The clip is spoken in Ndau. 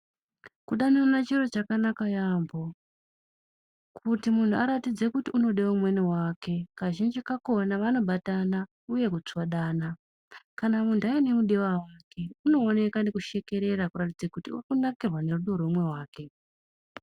Kudanana chiro chakanaka yambo kuti munhu aratidze kuti unode umweni wake kazhinji kakona vano batana uye ku tsvodana kana muntu aine mudiwa wake uno oneka neku shekerera kuratidze kuti uri kunakirwa ne rudo rwe umwe wake.